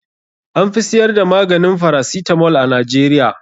An fi siyar da maganin farasitamol a Najeriya.